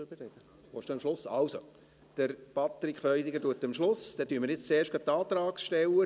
Dann sind es jetzt zuerst gleich die Antragsteller.